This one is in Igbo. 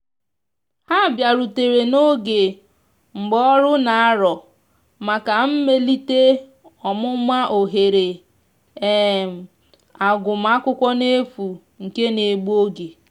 ha biarutere n'oge mgbaọrụ n'arọ maka mmelite ọmụma ohere um agụma akwụkwo n'efu nke na egbụ oge.